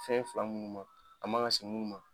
Fɛn fila minnu ma a ma kan se minnu ma.